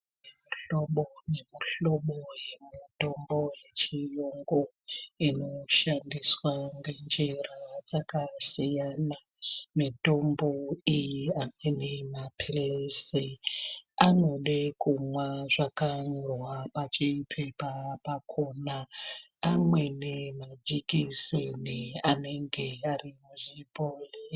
Mihlobo nemuhlobo yemitombo yechiyungu inoshandiswa ngenjira dzakasiyana. Mitombo iyi amweni maphilizi anode kumwa zvakanyorwa pachipepa pakona. Amweni majekiseni anenge ari muzvibhohlera...